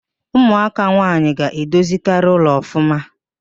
Ụmụaka nwaanyị ga-edozikarị ụlọ ọfụma